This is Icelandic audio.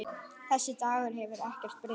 Þessi Dagur hefur ekkert breyst.